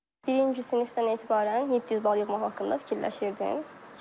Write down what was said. Birinci sinifdən etibarən 700 bal yığmaq haqqında fikirləşirdim.